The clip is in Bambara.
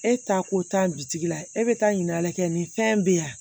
E ta ko taa bitigi la e bɛ taa ɲin'a kɛ nin fɛn bɛ yan